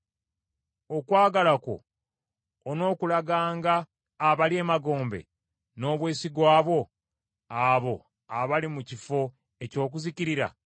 Okwagala kwo onookulaganga abali emagombe n’obwesigwa bwo abo abali mu kifo eky’okuzikirira?